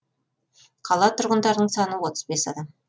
қала тұрғындарының саны отыз бес адам